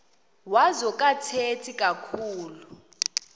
wazo akathethi kakhulu